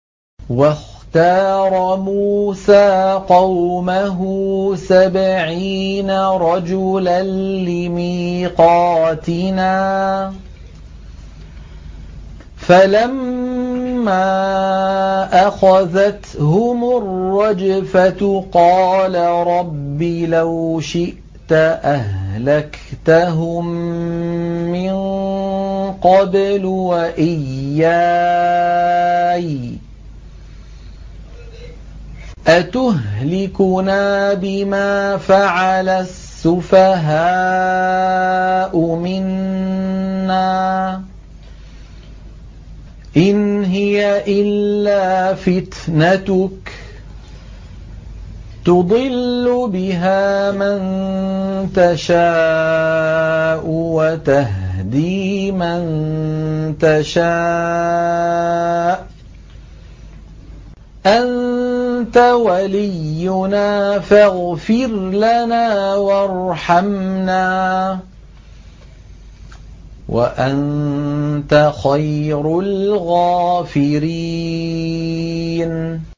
وَاخْتَارَ مُوسَىٰ قَوْمَهُ سَبْعِينَ رَجُلًا لِّمِيقَاتِنَا ۖ فَلَمَّا أَخَذَتْهُمُ الرَّجْفَةُ قَالَ رَبِّ لَوْ شِئْتَ أَهْلَكْتَهُم مِّن قَبْلُ وَإِيَّايَ ۖ أَتُهْلِكُنَا بِمَا فَعَلَ السُّفَهَاءُ مِنَّا ۖ إِنْ هِيَ إِلَّا فِتْنَتُكَ تُضِلُّ بِهَا مَن تَشَاءُ وَتَهْدِي مَن تَشَاءُ ۖ أَنتَ وَلِيُّنَا فَاغْفِرْ لَنَا وَارْحَمْنَا ۖ وَأَنتَ خَيْرُ الْغَافِرِينَ